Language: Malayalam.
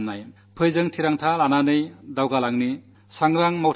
വരൂ നമുക്കു ദൃഢനിശ്ചയത്തോടെ മുന്നേറാം